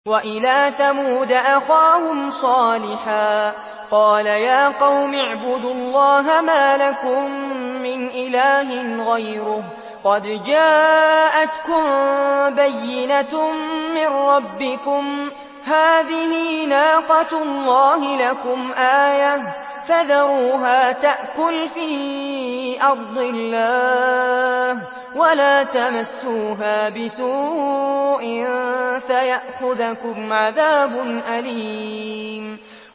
وَإِلَىٰ ثَمُودَ أَخَاهُمْ صَالِحًا ۗ قَالَ يَا قَوْمِ اعْبُدُوا اللَّهَ مَا لَكُم مِّنْ إِلَٰهٍ غَيْرُهُ ۖ قَدْ جَاءَتْكُم بَيِّنَةٌ مِّن رَّبِّكُمْ ۖ هَٰذِهِ نَاقَةُ اللَّهِ لَكُمْ آيَةً ۖ فَذَرُوهَا تَأْكُلْ فِي أَرْضِ اللَّهِ ۖ وَلَا تَمَسُّوهَا بِسُوءٍ فَيَأْخُذَكُمْ عَذَابٌ أَلِيمٌ